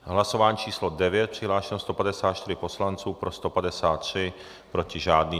Hlasování číslo 9. Přihlášeno 154 poslanců, pro 153, proti žádný.